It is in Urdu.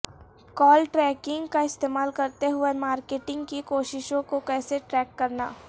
کال ٹریکنگ کا استعمال کرتے ہوئے مارکیٹنگ کی کوششوں کو کیسے ٹریک کرنا